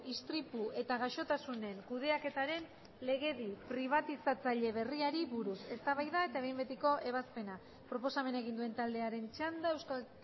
istripu eta gaixotasunen kudeaketaren legedi pribatizatzaile berriari buruz eztabaida eta behin betiko ebazpena proposamena egin duen taldearen txanda euskal